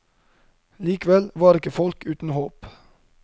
Likevel var ikke folk uten håp.